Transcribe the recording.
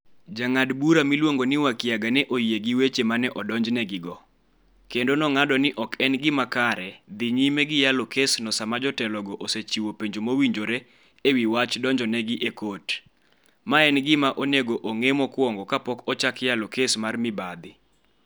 Jang'ad bura miluongo ni Wakiaga ne oyie gi weche ma ne odonjnegigo, kendo nong'ado ni ok en gima kare dhi nyime gi yalo kesno sama jotelogo osechiwo penjo mowinjore e wi wach donjonegi e kot, ma en gima onego ong'e mokwongo kapok ochak yalo kes mar mibadhi.